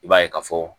I b'a ye ka fɔ